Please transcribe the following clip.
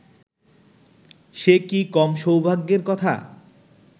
সে কি কম সৌভাগ্যের কথা